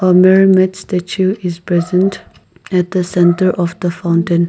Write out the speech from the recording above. mermaid statue is present at the center of the fountain.